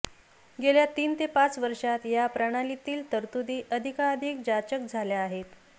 गेल्या तीन ते पांच वर्षात कर प्रणालीतील तरतुदी अधिकाधिक जाचक झाल्या आहेत